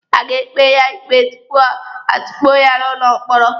A ga-ekpe ya ikpe tupu atukpuo ya n'ụlọ mkpọrọ.